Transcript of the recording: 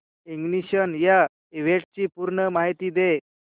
ignition या इव्हेंटची पूर्ण माहिती दे